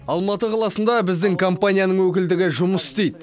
алматы қаласында біздің компанияның өкілдігі жұмыс істейді